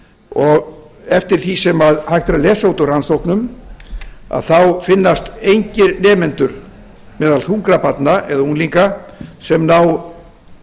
og eftir því sem hægt er að lesa út úr rannsóknum þá finnast engir nemendur meðal þungra barna eða unglinga sem ná